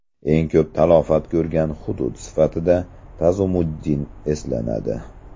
Eng ko‘p talafot ko‘rgan hudud sifatida Tazumuddin eslanadi.